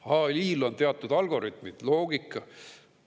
AI-l on teatud algoritmid, loogika.